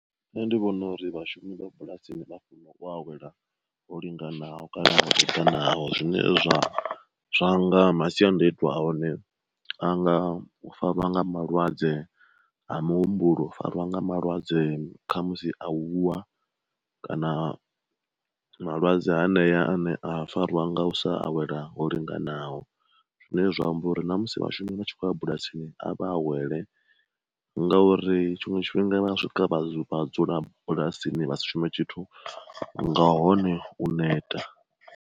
Nṋe ndi vhona uri vhashumi vha bulasini vha funa u awela ho linganaho kana u ita naho zwine zwa zwanga masiandaitwa a hone anga u fariwa nga malwadze a muhumbulo, u fariwa nga malwadze kha musi a u wa, kana malwadze hanea ane a farwa nga u sa awela ho linganaho. Zwine zwa amba uri ṋamusi vhashumi vha tshi khou a bulasini a vha a wele ngauri tshiṅwe tshifhinga vha swika vha dzula bulasini vha si shume tshithu nga hone u neta.